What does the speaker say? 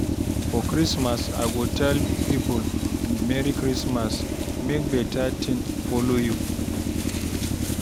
For Christmas, I go tell people, "Merry Christmas! Make better thing follow you!"